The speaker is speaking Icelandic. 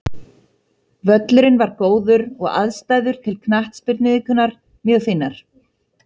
Völlurinn var góður og aðstæður til knattspyrnuiðkunar mjög fínar.